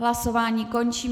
Hlasování končím.